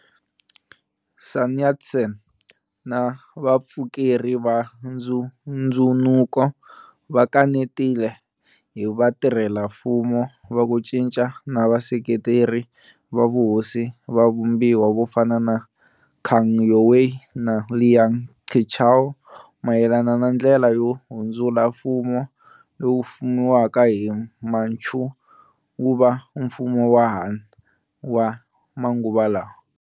Sun Yat-sen na vapfukeri va ndzhundzunuko va kanetile hi vatirhela mfumo va ku cinca na vaseketeri va vuhosi va vumbiwa vofana na Kang Youwei na Liang Qichao mayelana na ndlela yo hundzula mfumo lowu fumiwaka hi Manchu wuva mfumo wa Han wa manguva lawa.